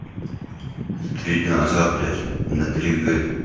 три дня назад взять блять на три г